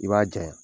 I b'a jaɲa